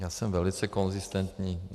Já jsem velice konzistentní.